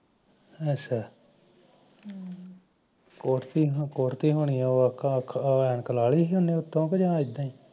ਅਛਾ ਕੁੱਟ ਤੀ ਹੋਣੀ ਕੁਠਦੀ ਹੋਣੀ ਐਨਕ ਲਾਹ ਤੀ ਜਾ ਐਦਾ ਹੀ